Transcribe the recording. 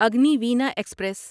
Agniveena express